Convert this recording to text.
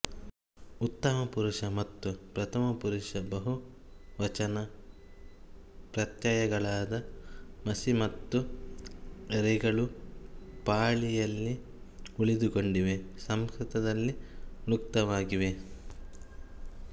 ಉತ್ತಮ ಪುರುಷ ಮತ್ತು ಪ್ರಥಮ ಪುರುಷ ಬಹು ವಚನ ಪ್ರತ್ಯಯಗಳಾದ ಮಸಿ ಮತ್ತು ರೆಗಳು ಪಾಳಿಯಲ್ಲಿ ಉಳಿದುಕೊಂಡಿವೆ ಸಂಸ್ಕೃತದಲ್ಲಿ ಲುಕ್ತವಾಗಿವೆ